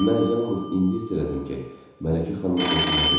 Və mən yalnız indi hiss elədim ki, Mələkə xanım özündə deyil.